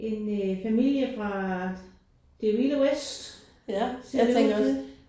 En øh familie fra det vilde vest. Ser du også det?